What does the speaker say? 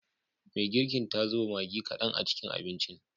Me girkin ta zuba Maggi kadan a cikin abincin.